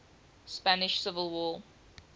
spanish civil war